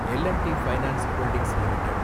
L and T finance holdings limited